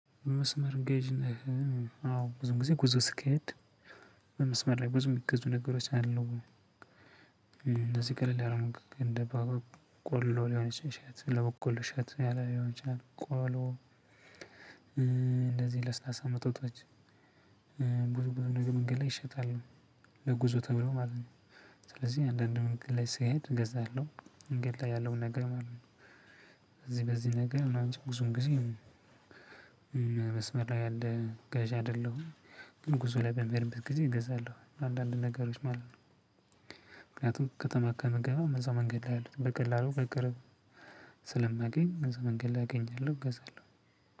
መስመር ገዥ ነህ? አዎ ብዙ ጊዜ ብዙ ስሄድ በመስመር ላይ ብዙ የሚገዙ ነገሮች አሉ። እንደዚህ ቀለል ያሉ ምግቦች እንደ ባቡር ቆሎ ሊሆን ይችላል ለበቆሎ እሸት ያለ ሊሆን ይችላል ቆሎ እንደዚህ ለስላሳ መጠጦች። ብዙ ብዙ ደግሞ መንገድ ላይ ይሸጣሉ ለጉዞ ተብሎ ማለት ነው። ስለዚህ አንዳንድ መንገድ ላይ ስሄድ እገዛለሁ መንገድ ላይ ያለው ነገር ማለት ነው። በዚህ በዚህ ነገር ምናምን ነው እንጂ ብዙም ጊዜ። መስመር ላይ ያንያህልገዢ አይደለሁም። ጉዞ ላይ በሚሄድበት ጊዜ እገዛለሁ አንዳንድ ነገሮች ማለት ነው። ምክንያቱም ከተማ ከምገባ እዛው መንገድ ላይ ያሉትን በቀላሉ በቅርብ ስለማገኝ እዛው መንገድ ላይ አገኛለሁ እገዛለሁ።